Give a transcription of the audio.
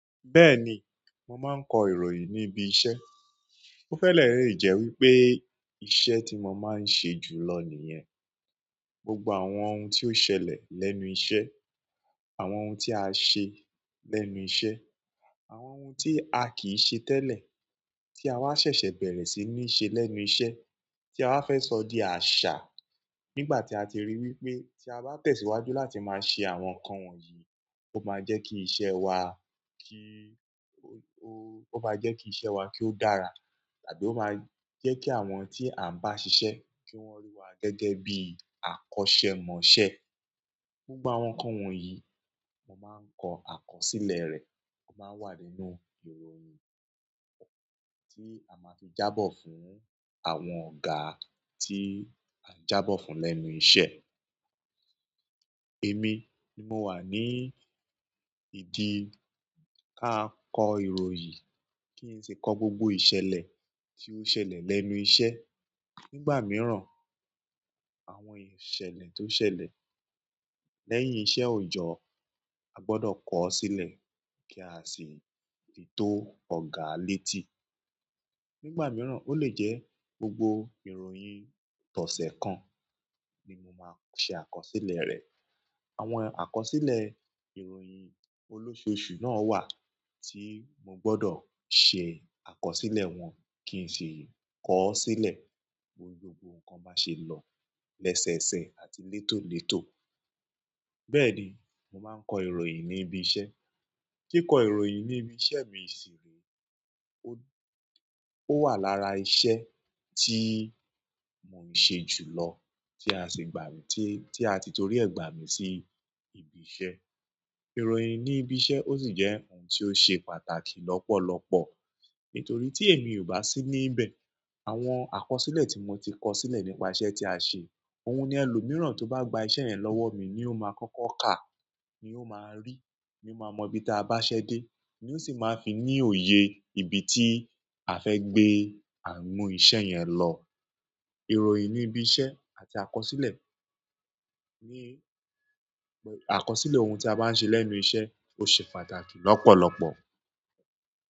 Bẹ́ẹ̀ni, mo máa ń kọ ìròyìn ni íbi iṣẹ́. O fẹ lẹ re jẹ wípé iṣẹ́ ti mo ma n ṣe ju lọ niyẹn. Gbogbo àwọn ohun tí ó ṣẹlẹ̀ lẹ́nu iṣẹ́, àwọn ohun tí a ṣe lẹ́nu iṣẹ́, àwọn ohun tí a kìí ṣe tẹ́lẹ̀ tí a wá ṣẹ̀ṣẹ̀ bẹ̀rẹ̀ sí ní ṣe lẹ́nu iṣẹ́ tí aww fẹ́ sọ di àṣà nígbà tí a ti rí wípé tí a bá tẹ̀síwájú láti máa ṣe àwọn nǹkan wọ̀nyí, ó máa jẹ́ kí iṣẹ́ wa kíí-- ó, ó, ó máa jẹ́ kí iṣẹ́ wa kí ó dára tàbí ó máa jẹ́ kí àwọn tí à ń bá ṣiṣẹ́ kí wọ́n rí wa gẹ́gẹ́ bí àkọ́ṣẹ́mọṣẹ́. Gbogbo àwọn nǹkan wọ̀nyí mo máa ń kọ àkọsílẹ̀ rẹ̀, ó máa n wà nínú ìròyìn tí a máa fi jábọ̀ fún àwọn ọ̀gá tí à ń jábọ̀ fún lẹ́nu iṣẹ́. Èmi ni mo wà ní ìdí káa kọ ìròyìn, kí n tì kọ gbogbo ìṣẹ̀lẹ̀ tí ó ṣẹlẹ̀ lẹ́nu iṣẹ́. Nígbà mìíràn, àwọn ìṣẹ̀lẹ̀ tó ṣẹlẹ̀ lẹ́yìn iṣẹ́ òjọ́ a gbọdọ̀ kọ ọ́ sílẹ̀ kí a sì lè tò ọ̀gá létí. Nígbà mìíràn ó lè jẹ́ gbogbo ìròyìn tọ̀sẹ̀ kan ni mo máa ṣe àkọsílẹ̀ rẹ̀. Àwọn àkọsílẹ̀ ìròyìn olósòosù náà wà tí mo gbọdọ̀ ṣe àkọsílẹ̀ wọn kí n sì kọ ọ́ sílẹ̀ bi gbogbo nǹkan bá ṣe lọ lẹ́sẹẹsẹ àti létólètó. Bẹ́ẹ̀ni, mo máa ń kọ ìròyìn níbi iṣẹ́. Kíkọ ìròyìn ní ibi iṣẹ́ mi ṣe ó, ó wà lára iṣẹ́ tí mo ń ṣe jù lọ tí a sì gbà mí-- tí a ti torí ẹ̀ gbà mí sí ibi iṣẹ́. Ìròyìn ní ibi iṣẹ́ ó sì jẹ́ ohun tí ó ṣe pàtàkì lọ́pọ̀lọpọ̀ nítorí tí èmi ò bá sí níbẹ̀, àwọn àkọsílẹ̀ tí mo ti kọ sílẹ̀ nípa iṣẹ́ tí a ṣe, òun ni ẹlòmíràn tó bá gba iṣẹ́ yẹn lọ́wọ́ mi ni ó máa kọ́kọ́ kà, ni o maa ri ni o maa mọ ibi ti a baṣẹ de, ni o si maa fi ni oye ibi ti a fẹ gbe–a n mu iṣẹ́ yẹn lọ. Ìròyìn níbi iṣẹ́ àti àkọsílẹ̀ ní, àkọsílẹ̀ ohun tí a bá ń ṣe lẹ́nu iṣẹ́ ó ṣe pàtàkì lọ́pọ̀lọpọ̀.